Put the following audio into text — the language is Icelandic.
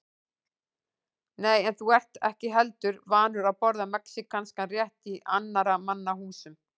Nei, en þú ert ekki heldur vanur að borða mexíkanskan rétt í annarra manna húsum